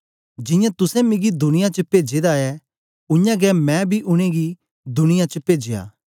जियां तुसें मिगी दुनिया च पेजे दा ऐ उयांगै मैं बी उनेंगी दुनिया च पेजया